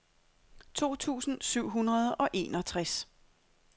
to tusind syv hundrede og enogtres